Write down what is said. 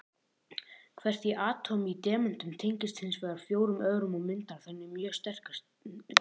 Hvert atóm í demöntum tengist hins vegar fjórum öðrum og myndar þannig mjög sterka grind.